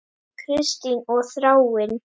Kristín og Þráinn.